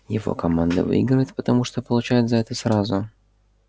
его команда выигрывает потому что получает за это сразу